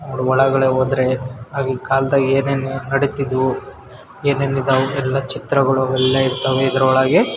ಅವ್ರು ಒಳ್ಗಡೆ ಹೋದ್ರೆ ಆಗಿನ್ ಕಾಲದಲ್ಲಿ ಏನೇನ್ ನಡೀತಿದ್ವು ಏನೇನ್ ಇದಾಗಿತ್ತು ಎಲ್ಲ ಚಿತ್ರಗಳು ಎಲ್ಲ ಇರ್ತವೆ ಇದ್ರೊಳ್ಗೆ.